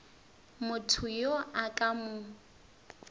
motho yo a ka mo